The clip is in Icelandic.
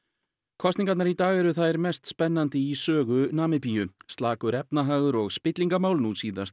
kosningarnar í dag eru þær mest spennandi í sögu Namibíu slakur efnahagur og spillingarmál nú síðast